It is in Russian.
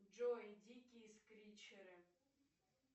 джой дикие скричеры